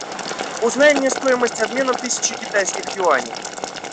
узнай мне стоимость обмена тысячи китайских юаней